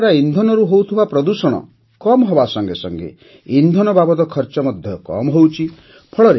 ଏହାଦ୍ୱାରା ଇନ୍ଧନରୁ ହେଉଥିବା ପ୍ରଦୂଷଣ କମ୍ ହେବା ସଙ୍ଗେ ସଙ୍ଗେ ଇନ୍ଧନ ବାବଦ ଖର୍ଚ୍ଚ ମଧ୍ୟ କମ୍ ହେଉଛି